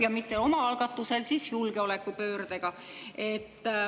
… ja mitte oma algatusel – julgeolekupöördega.